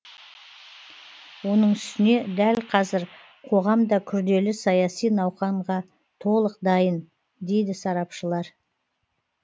оның үстіне дәл қазір қоғам да күрделі саяси науқанға толық дайын дейді сарапшылар